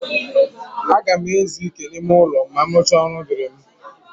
A ga m ezu ike n'ime ụlọ ma m rụchaa ọrụ dịịrị m.